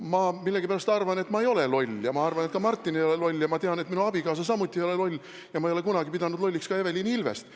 Ma millegipärast arvan, et ma ei ole loll, ja ma arvan, et ka Martin ei ole loll, ja ma tean, et minu abikaasa samuti ei ole loll, ja ma ei ole kunagi pidanud lolliks ka Evelin Ilvest.